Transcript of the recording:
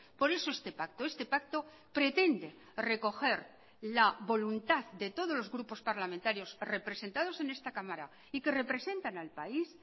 por eso este pacto este pacto pretende recoger la voluntad de todos los grupos parlamentarios representados en esta cámara y que representan al país